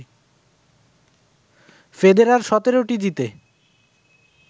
Federer ১৭টি জিতে